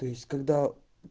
то есть когда